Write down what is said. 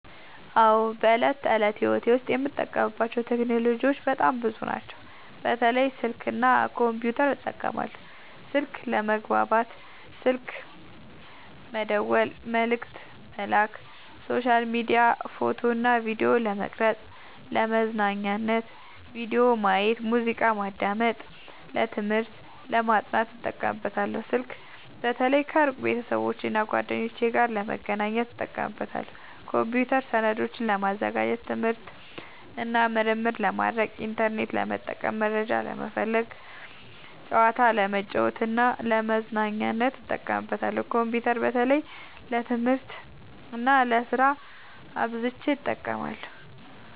አዎ፣ በዕለት ተዕለት ሕይወቴ ዉስጥ የምጠቀምባቸው ቴክኖሎጂዎች በጣም ብዙ ናቸው፣ በተለይ ስልክ እና ኮምፒውተር እጠቀማለሁ። 1. ስልክ፦ ለመግባባት (ስልክ መደወል፣ መልዕክት መላክ)፣ሶሻል ሚዲያ፣ ፎቶ እና ቪዲዮ ለመቅረጵ፣ ፣ለመዝናኛነት(ቪዲዮ ማየት፣ ሙዚቃ ማዳመጥ)፣ ለትምህርት(ለማጥናት) እጠቀምበታለሁ። ስልክ በተለይ ከሩቅ ቤተሰቦቼና እና ጓደኞቼ ጋር ለመገናኘት እጠቀምበታለሁ። 2. ኮምፒውተር፦ ሰነዶችን ለማዘጋጀት፣ ትምህርት እና ምርምር ለማድረግ፣ ኢንተርኔት ለመጠቀም (መረጃ ለመፈለግ)፣ ጨዋታ ለመጫወት እና ለመዝናኛነት እጠቀምበታለሁ። ኮምፒውተር በተለይ ለትምህርት እና ለስራ አብዝቸ እጠቀማለሁ።